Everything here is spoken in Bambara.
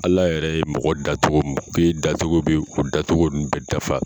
Ala yɛrɛ ye mɔgɔ da cogo min k'e da cogo bɛ o da cogo nun bɛɛ dafa.